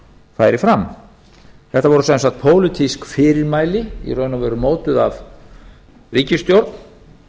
færi fram þetta voru sem sagt pólitísk fyrirmæli í raun og veru mótuð af ríkisstjórn